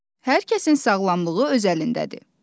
Hər kəsin sağlamlığı öz əlindədir.